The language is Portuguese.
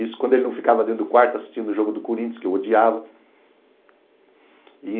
Isso quando ele não ficava dentro do quarto assistindo o jogo do Corinthians, que eu odiava.